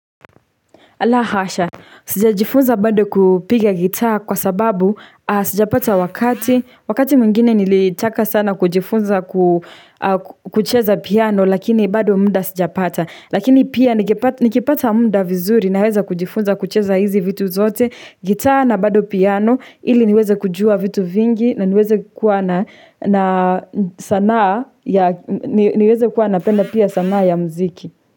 La hasha, sijajifunza bado kupiga gitaa kwa sababu sijapata wakati, wakati mwingine nilitaka sana kujifunza kucheza piano lakini bado muda sijapata. Lakini pia nikipata muda vizuri na weza kujifunza kucheza hizi vitu zote, gitaa na bado piano ili niweze kujua vitu vingi na niweze kuwa na sanaa niweze kuwa napenda pia sanaa ya mziki.